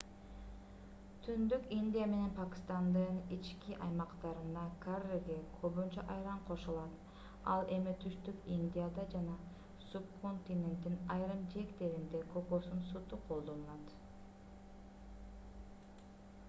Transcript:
түндүк индия менен пакистандын ички аймактарында карриге көбүнчө айран кошулат ал эми түштүк индияда жана субконтиненттин айрым жээктеринде кокосун сүтү колдонулат